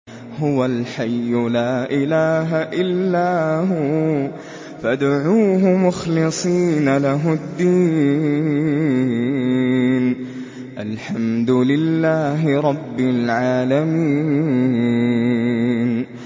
هُوَ الْحَيُّ لَا إِلَٰهَ إِلَّا هُوَ فَادْعُوهُ مُخْلِصِينَ لَهُ الدِّينَ ۗ الْحَمْدُ لِلَّهِ رَبِّ الْعَالَمِينَ